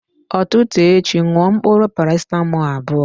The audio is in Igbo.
Ụtụtụ echi ṅụọ mkpụrụ parasetamọl abụọ